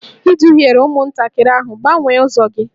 Ị duhiere ụmụntakịrị ahụ, gbanwee ụzọ gị!